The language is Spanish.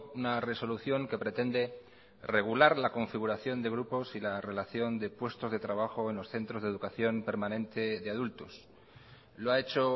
una resolución que pretende regular la configuración de grupos y la relación de puestos de trabajo en los centros de educación permanente de adultos lo ha hecho